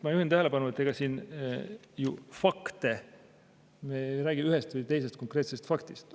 Ma juhin tähelepanu, et me ei räägi siin ühest või teisest konkreetsest faktist.